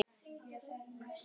Við erum þegar dálítið seinir.